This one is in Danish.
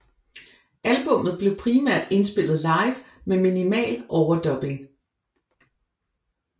Albummet blev primært indspillet live med minimal overdubbing